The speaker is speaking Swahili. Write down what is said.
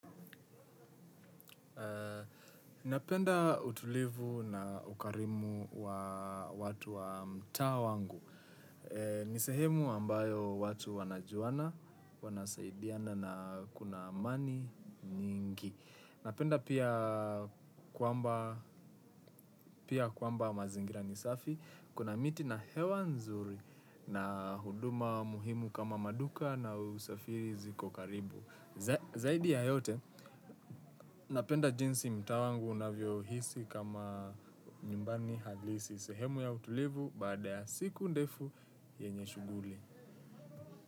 Napenda utulivu na ukarimu wa watu wa mtaa wangu. Nisehemu ambayo watu wanajuana, wanasaidiana na kuna amani nyingi. Napenda pia kwamba mazingira nisafi, kuna miti na hewa nzuri na huduma muhimu kama maduka na usafiri ziko karibu. Zaidi ya yote, napenda jinsi mtaa wangu unavyo hisi kama nyumbani halisi. Sehemu ya utulivu baada ya siku ndefu yenye shughuli.